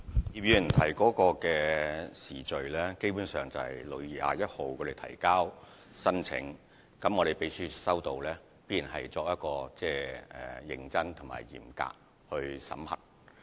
葉議員問及的時序，基本上是青總在6月21日提交申請，而秘書處在接獲申請後必然會認真和嚴格地審核。